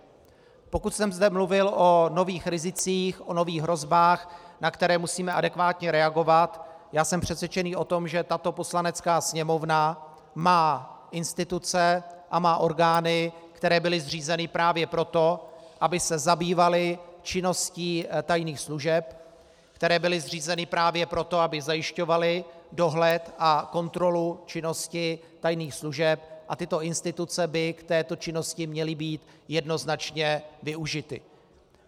Pokud jsem zde mluvil o nových rizicích, o nových hrozbách, na které musíme adekvátně reagovat, já jsem přesvědčený o tom, že tato Poslanecká sněmovna má instituce a má orgány, které byly zřízeny právě proto, aby se zabývaly činností tajných služeb, které byly zřízeny právě proto, aby zajišťovaly dohled a kontrolu činnosti tajných služeb, a tyto instituce by k této činnosti měly být jednoznačně využity.